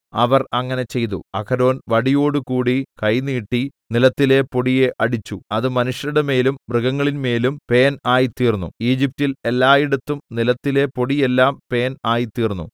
അവർ അങ്ങനെ ചെയ്തു അഹരോൻ വടിയോടുകൂടി കൈ നീട്ടി നിലത്തിലെ പൊടിയെ അടിച്ചു അത് മനുഷ്യരുടെമേലും മൃഗങ്ങളിൻമേലും പേൻ ആയിത്തീർന്നു ഈജിപ്റ്റിൽ എല്ലായിടത്തും നിലത്തിലെ പൊടിയെല്ലാം പേൻ ആയിത്തീർന്നു